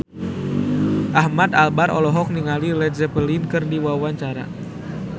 Ahmad Albar olohok ningali Led Zeppelin keur diwawancara